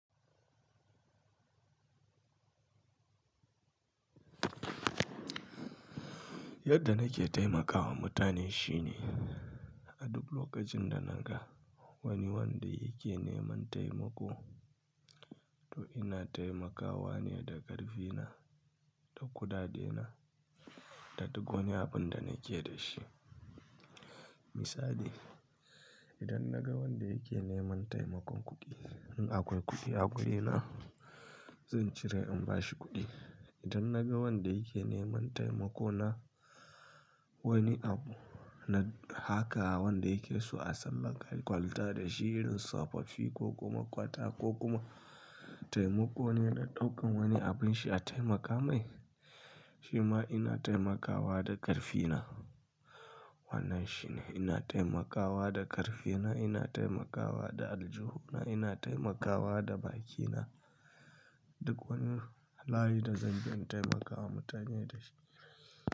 Yadda nake taimakawa mutane shine, a duk lokacin da naga wani wanda yake neman taimako, to ina taimakawa ne da karfina, da kuɗaɗe na, da duk wani abun da nake da shi. Misali, idan naga wanda yake neman taimakon kuɗi, in akwai kuɗi a guri na, zan cire in bashi kuɗi. Idan naga wanda yake neman taimako na wani abu na haka, wanda yake so a samarwa kwalita da shi irin sapa fi ko kuma kwata ko kuma taimako ne na ɗaukan wani abin shi a taimaka mai, shi ma ina taimakawa da ƙarfina. Wannan shine, ina taimakawa da ƙarfina, ina taimakawa da aljuhu na, ina taimakawa da bakina, duk wani layi da zan bi in taimakawa mutane da shi.